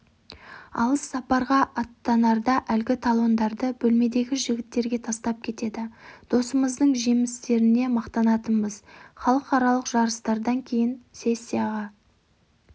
алыс сапарға аттанарда әлгі талондарды бөлмедегі жігіттерге тастап кетеді досымыздың жеңістеріне мақтанатынбыз халықаралық жарыстардан кейде сессияға